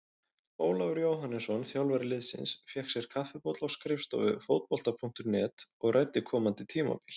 Ólafur Jóhannesson, þjálfari liðsins, fékk sér kaffibolla á skrifstofu Fótbolta.net og ræddi komandi tímabil.